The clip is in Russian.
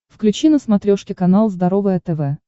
включи на смотрешке канал здоровое тв